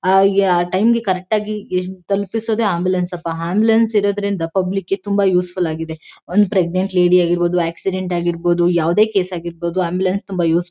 ಆಹ್ಹ್ ಆ ಟೈಂಗೆ ಕರೆಕ್ಟ್ ಆಗಿ ಎಷ್ಟ್ ತಲುಪಿಸೋದೇ ಆಂಬುಲೆನ್ಸ್ ಅಪ್ಪಾ ಆಂಬುಲೆನ್ಸ್ ಇರೋದ್ರಿಂದ ಪಬ್ಲಿಕ್ಕಿಗೆ ತುಂಬ ಯೂಸ್ಫುಲ್ ಆಗಿದೆ ಒಂದ್ ಪ್ರೇಗ್ನನ್ಟ್ ಲೇಡಿ ಆಗಿರ್ಬಹುದು ಆಕ್ಸಿಡೆಂಟ್ ಆಗಿರ್ಬಹುದು ಯಾವದೇ ಕೇಸ್ ಆಗಿರ್ಬಹುದು ಆಂಬುಲೆನ್ಸ್ ತುಂಬಾ ಯೂಸ್ಫುಲ್ -